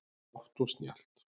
Hátt og snjallt